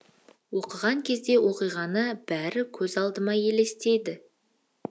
оқыған кезде оқиғаның бәрі көз алдыма елестеді